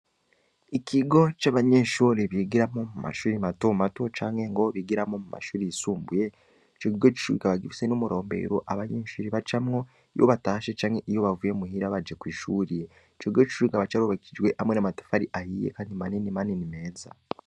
Ikigo c'abanyeshure bigiramwo muma shule mato mato canke ngo bigiramwo muma shule yisumbuye, ico kigo c'ishule kikaba gifise n'umurobero abanyeshure bacamwo iyo batashe canke iyo bavuye muhira baje kw'ishule, ico kigo c'ishule kikaba c'ubakishijwe n'amatafari ahiye kandi manini manini meza.